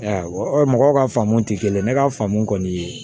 mɔgɔw ka faamu tɛ kelen ye ne ka faamu kɔni